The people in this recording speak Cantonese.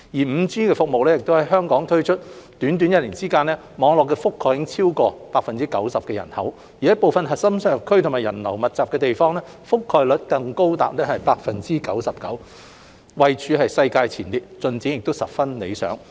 5G 服務在香港推出短短一年之間，網絡覆蓋已超過 90% 的人口，部分核心商業區及人流密集的地方，覆蓋率更高達 99%， 位處世界前列，進展十分理想。